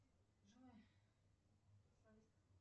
джой